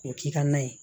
K'o k'i ka na ye